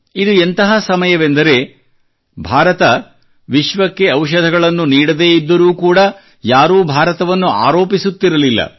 ಇದು ಎಂತಹ ಸಮಯವೆಂದರೆ ಭಾರತ ವಿಶ್ವಕ್ಕೆ ಔಷಧಗಳನ್ನು ನೀಡದೇ ಇದ್ದರೂ ಕೂಡಾ ಯಾರೂ ಭಾರತವನ್ನು ಆರೋಪಿಸುತ್ತಿರಲಿಲ್ಲ